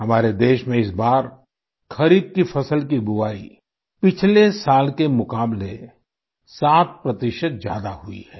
हमारे देश में इस बार खरीफ की फसल की बुआई पिछले साल के मुकाबले 7 प्रतिशत ज्यादा हुई है